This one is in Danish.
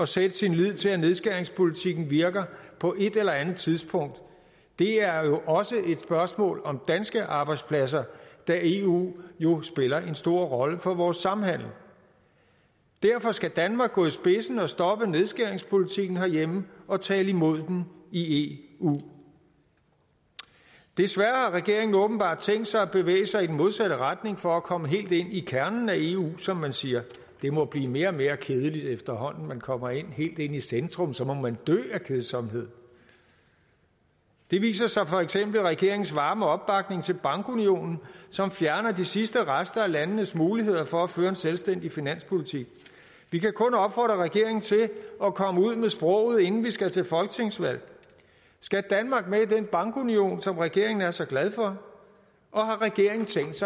sætte sin lid til at nedskæringspolitikken virker på et eller andet tidspunkt det er jo også et spørgsmål om danske arbejdspladser da eu jo spiller en stor rolle for vores samhandel derfor skal danmark gå i spidsen og stoppe nedskæringspolitikken herhjemme og tale imod den i eu desværre har regeringen åbenbart tænkt sig at bevæge sig i den modsatte retning for at komme helt ind i kernen af eu som man siger det må blive mere og mere kedeligt efterhånden som man kommer helt ind i centrum så må man dø af kedsomhed det viser sig for eksempel i regeringens varme opbakning til bankunionen som fjerner de sidste rester af landenes muligheder for at føre en selvstændig finanspolitik vi kan kun opfordre regeringen til at komme ud med sproget inden vi skal til folketingsvalg skal danmark med i den bankunion som regeringen er så glad for og